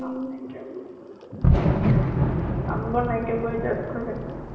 কাম নাইকিয়াবোৰ। কাম বন নাইকিয়াবোৰে tag কৰি থাকে ।